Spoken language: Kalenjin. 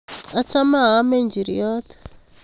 Achome aame nchiriot